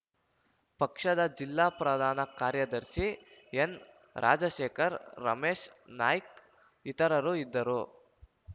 ಪಕ್ಷದ ಜಿಲ್ಲಾ ಪ್ರಧಾನ ಕಾರ್ಯದರ್ಶಿ ಎನ್‌ರಾಜಶೇಖರ ರಮೇಶ ನಾಯ್ಕ ಇತರರು ಇದ್ದರು